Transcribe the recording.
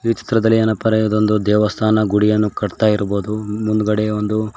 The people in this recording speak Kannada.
ಈ ಚಿತ್ರದಲ್ಲಿ ಏನಪರಿಯದಂದು ದೇವಸ್ಥಾನ ಗುಡಿಯನ್ನು ಕಾತ್ತಾ ಇರ್ಬೋದು ಮುಂದ್ಗಡೆ ಒಂದು-